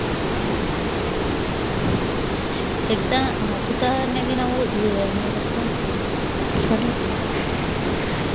Exa~ ಆಹ್ ಉದಾಹರಣೆಗೆ ನಾವು ಆಹ್ ಏನಪ್ಪಾ sorry